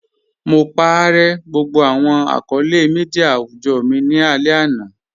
Mo pàárẹ̀ gbogbo awọn akọọlẹ̀ míḍíà awùjọ́ mi ni alẹ̀ ana.